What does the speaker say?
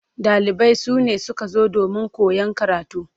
Ɗalibai sune suka zo domin koyan karatu.